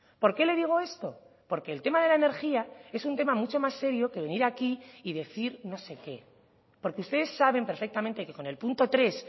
por qué le digo esto porque el tema de la energía es un tema mucho más serio que venir aquí y decir no sé qué porque ustedes saben perfectamente que con el punto tres